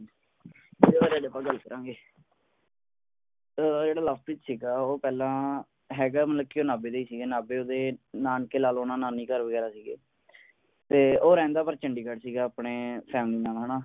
ਇਹਦੇ ਬਾਰੇ ਅੱਜ ਆਪਾਂ ਗੱਲ ਕਰਾਂਗੇ ਤੇ ਜਿਹੜਾ ਲਵਪ੍ਰੀਤ ਸੀਗਾ ਉਹ ਪਹਿਲਾਂ ਹੈਗਾ ਮਤਲਬ ਉਹ ਨਾਭੇ ਦਾ ਹੀ ਸੀਗਾ ਨਾਭੇ ਓਹਦੇ ਨਾਨਕੇ ਲਾ ਲੋ ਨਾਨੀ ਘਰ ਵਗੈਰਾ ਸੀਗੇ ਤੇ ਉਹ ਰਹਿੰਦਾ ਪਰ ਚੰਡੀਗੜ੍ਹ ਸੀਗਾ ਆਪਣੀ ਨਾਲ ਹੈ ਨਾ